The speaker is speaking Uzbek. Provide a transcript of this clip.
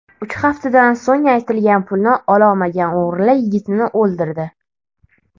Uch haftadan so‘ng aytilgan pulni ololmagan o‘g‘rilar yigitni o‘ldirdi.